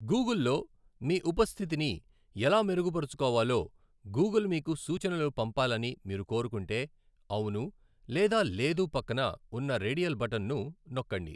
గూగుల్లో మీ ఉపస్థితిని ఎలా మెరుగుపరచుకోవాలో గూగుల్ మీకు సూచనలు పంపాలని మీరు కోరుకుంటే 'అవును' లేదా 'లేదు' పక్కన ఉన్న రేడియల్ బటన్ను నొక్కండి.